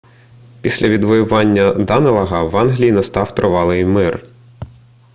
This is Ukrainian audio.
після відвоювання данелага в англії настав тривалий мир